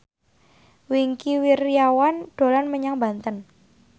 Wingky Wiryawan dolan menyang Banten